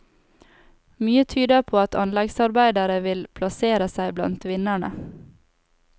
Mye tyder på at anleggsarbeidere vil plassere seg blant vinnerne.